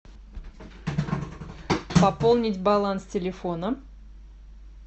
пополнить баланс телефона